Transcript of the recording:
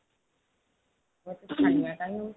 ତୁ ଏତେ ଛାନିଆ କାହିଁକି ହଉଛୁ